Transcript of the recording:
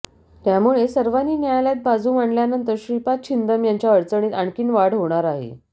त्यामुळे सर्वांनी न्यायालयात बाजू मांडल्यानंतर श्रीपाद छिंदम यांच्या अडचणीत आणखी वाढ होणार आहे